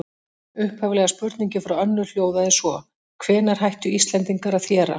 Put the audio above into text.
Upphaflega spurningin frá Önnu hljóðaði svo: Hvenær hættu Íslendingar að þéra?